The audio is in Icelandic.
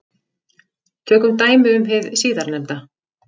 Tökum dæmi um hið síðarnefnda.